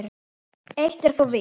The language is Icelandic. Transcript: Eitt er þó víst.